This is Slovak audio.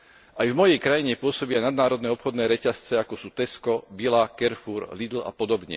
Aj v mojej krajine pôsobia nadnárodné obchodné reťazce, ako sú Tesco, Billa, Carrefour, Lidl a pod.